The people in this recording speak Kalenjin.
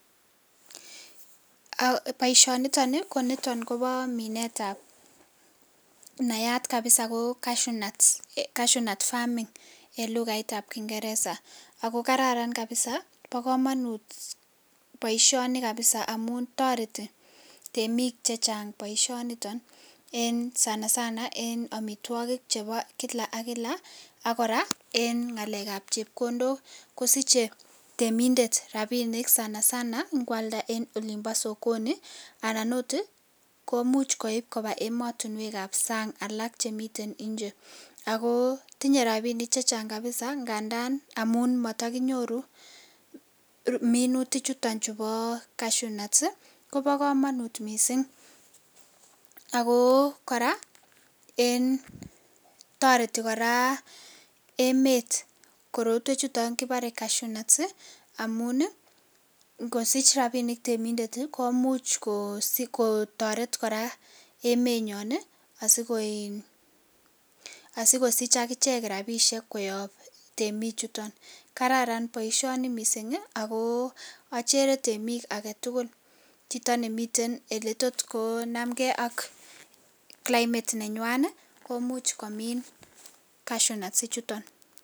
Baishoni niton Koba Minet ab nayat kabisa ko cashonat farming elukait ab kingeresa akokararan kabisa akoba kamanut kabisa baishoni kabisa amun tareti temik chechang baishoniton en sanasana amitwakik chebo kilak AK kila akoraa en ngalek ab chepkondok kosiche temindet rabinik sanasana ngealda en olimbosokoni anan okot komuch koib Koba ematunwek ab sang alak Chemiten nje ako tinye rabinik chechang kabisa ngandan amun matakinyoru minutik chuton cashonuts Koba kamanut mising ako koraa en tareti koraa emet korotwek chuton kibare cashonuts amun kosich rabinik temik komuch kotaretgei AK emet nyon asikosich akichek rabinik koyab temik chuton kararan baishoni mising ako achere temik agetugul Chito nemiten eletotkonamgei ak Cs climate Cs) nenywan komuch komin cashonuts ichuton